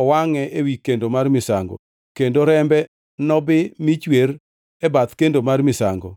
owangʼe ewi kendo mar misango, kendo rembe nobii michwer e bath kendo mar misango.